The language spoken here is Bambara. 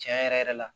Tiɲɛ yɛrɛ yɛrɛ la